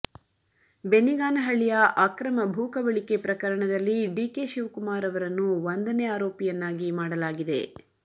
ಬೆನ್ನಿಗಾನಹಳ್ಳಿಯ ಅಕ್ರಮ ಭೂ ಕಬಳಿಕೆ ಪ್ರಕರಣದಲ್ಲಿ ಡಿಕೆ ಶಿವಕುಮಾರ್ ಅವರನ್ನು ಒಂದನೇ ಆರೋಪಿಯನ್ನಾಗಿ ಮಾಡಲಾಗಿದೆ